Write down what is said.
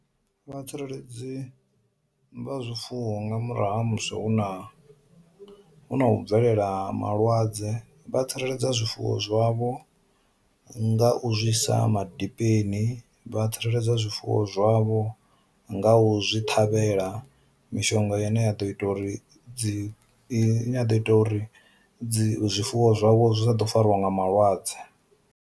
Vhatsireledzi vha zwifuwo nga murahu ha musi hu na hu na u bvelela malwadze vha tsireledza zwifuwo zwavho nga u zwisa maḓi dipeni, vha tsireledzwa zwifuwo zwavho nga u zwi ṱhavhela mishonga ine ya ḓo ita uri dzi nyi, dzi ita uri dzi zwifuwo zwavho zwa ḓo farwa nga malwadze.